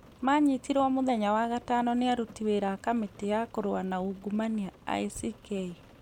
Maanyitirũo mũthenya wa gatano nĩ aruti wĩra a kamĩtĩ ya kũrũa na ungumania ICK.